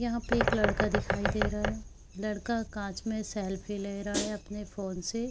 यहाँ पे एक लड़का दिखाई दे रहा है लड़का कांच में सेल्फी ले रहा है अपने फ़ोन से।